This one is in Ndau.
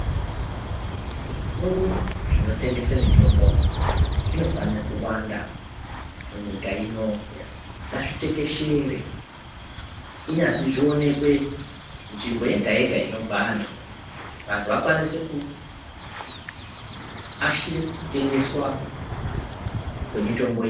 Zvitoro Zvinotengese mitombo zvinofane kuwanda munyika ino ngazvitekeshere kunyazi zvionekwe nzvimbo yega yega inobve antu vantu vakwanise kuashire kutengeswa kwemitombo iyi .